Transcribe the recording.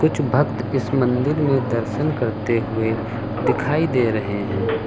कुछ भक्त इस मंदिर में दर्शन करते हुए दिखाई दे रहे हैं।